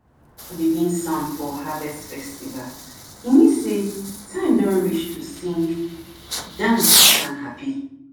begin sound for harvest festival e mean sey time don reach to sing dance and happy.